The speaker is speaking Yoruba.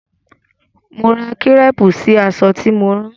Mo ra kírépù sí aṣọ tí mo rán.